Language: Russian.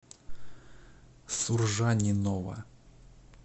суржанинова